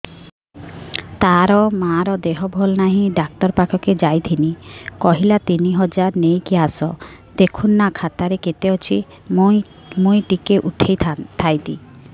ତାର ମାର ଦେହେ ଭଲ ନାଇଁ ଡାକ୍ତର ପଖକେ ଯାଈଥିନି କହିଲା ତିନ ହଜାର ନେଇକି ଆସ ଦେଖୁନ ନା ଖାତାରେ କେତେ ଅଛି ମୁଇଁ ଟିକେ ଉଠେଇ ଥାଇତି